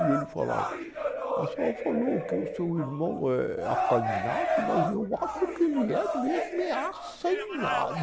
E ele falava, a senhora falou que o seu irmão é acanhado, mas eu acho que ele é mesmo é